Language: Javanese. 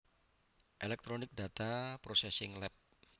Electronics Data Processing Lab